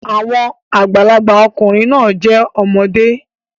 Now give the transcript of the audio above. Àwọn àgbàlagbà ọkùnrin náà jẹ́ ọmọdé